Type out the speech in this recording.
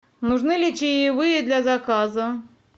нужны ли чаевые для заказа